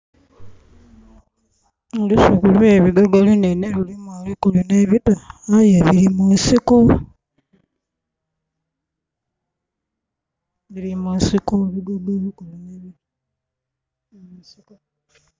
Olusuku olwe bigogo lunene lulimu ebikulu ne bito aye biri mu nsiko. Birimu nsiko ebigogo ebikulu ne bito